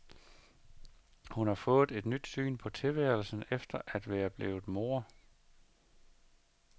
Hun har fået et nyt syn på tilværelsen efter at være blevet mor.